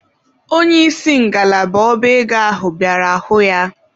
Onye isi ngalaba ọba ego ahụ bịara hụ ya.